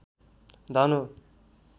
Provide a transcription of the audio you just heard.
धन हो